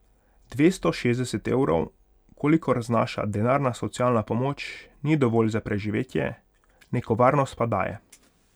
Dvesto šestdeset evrov, kolikor znaša denarna socialna pomoč, ni dovolj za preživetje, neko varnost pa daje.